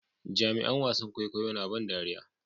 Jaruman wasan kwaikwayo na ban dariya